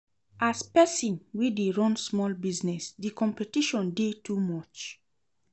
As pesin wey dey run small business, di competition dey too much.